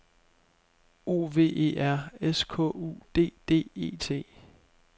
O V E R S K U D D E T